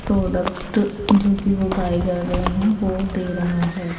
Product जोकि हो पायगा अगर यहाँ वो दे रहा है।